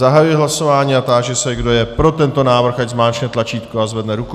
Zahajuji hlasování a táži se, kdo je pro tento návrh, ať zmáčkne tlačítko a zvedne ruku.